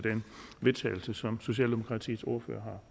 vedtagelse som socialdemokratiets ordfører